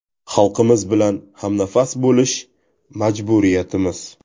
Xalqimiz bilan hamnafas bo‘lish – majburiyatimiz!